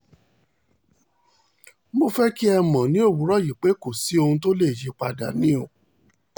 mo fẹ́ kí ẹ mọ̀ ní òwúrọ̀ yìí pé kò sí ohun tó lè yí i padà ni o